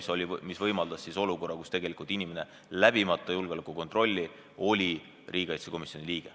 See aga võimaldas olukorra, kus inimene saab olla julgeolekukontrolli läbimata riigikaitsekomisjoni liige.